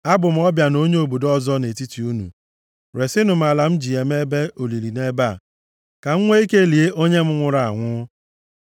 “Abụ m ọbịa na onye obodo ọzọ nʼetiti unu. Resinụ m ala m ji eme ebe olili nʼebe a, ka m nwee ike lie onye m nwụrụ anwụ.”